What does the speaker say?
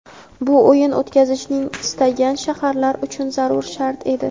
bu o‘yin o‘tkazishni istagan shaharlar uchun zarur shart edi.